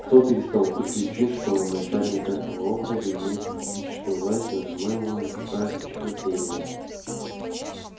кто-то из толпы кричит что он начальник этого округа и имеет политическую власть но по-моему он выступает от чьего-то имени